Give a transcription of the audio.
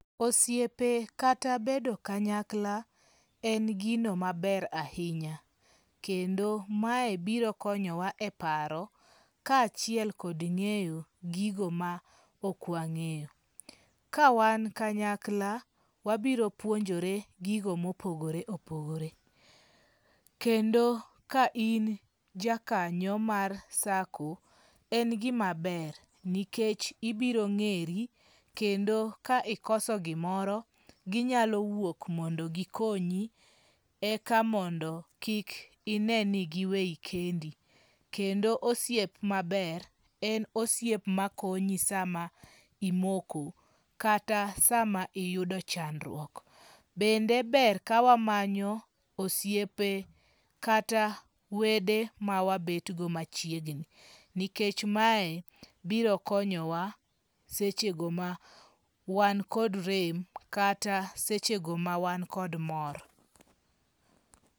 Osiepe kata bedo kanyakla en gino maber ahinya. Kendo mae biro konyowa e paro kachiel kod ng'eyo gigo ma ok wang'eyo. Ka wan kanyakla, wabiro puonjore gigo mopogore opogore. Kendo ka in ja kanyo mar SACCO, en gima ber nikech ibiro ng'eri kendo ka ikoso gimoro ginyalo wuok mondo gikonyi e ka mondo kik ineni giweyi kendi. Kendo osiep maber en osiep makonyi sama imoko kata sa ma iyudo chandruok. Bende ber ka wamanyo osiepe kata wede ma wabet go machiegni. Nikech mae biro konyowa seche go ma wan kod rem kata seche go ma wan kod mor.